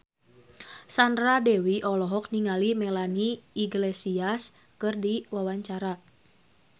Sandra Dewi olohok ningali Melanie Iglesias keur diwawancara